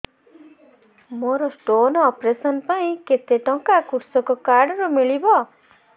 ମୋର stone operation ପାଇଁ କେତେ ଟଙ୍କା କୃଷକ କାର୍ଡ ରୁ ମିଳିବ